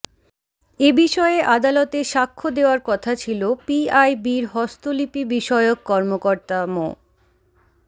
এ বিষয়ে আদালতে সাক্ষ্য দেওয়ার কথা ছিল পিআইবির হস্তলিপিবিষয়ক কর্মকর্তা মো